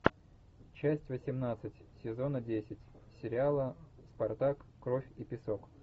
часть восемнадцать сезона десять сериала спартак кровь и песок